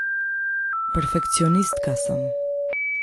Perfekcionistka sem.